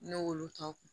Ne y'olu tɔw